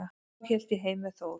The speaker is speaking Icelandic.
Þá hélt ég heim með Þór.